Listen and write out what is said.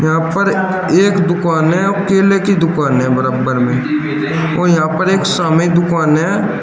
यहां पर एक दुकान है केले की दुकान है बराबर में और यहां पर एक सामने दुकान है।